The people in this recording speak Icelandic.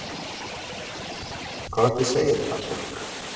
Hvað viltu segja við það fólk?